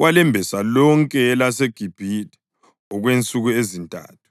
walembesa lonke elaseGibhithe okwensuku ezintathu.